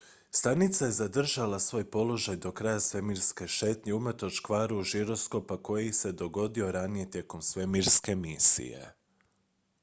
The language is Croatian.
stanica je zadržala svoj položaj do kraja svemirske šetnje unatoč kvaru žiroskopa koji se dogodio ranije tijekom svemirske misije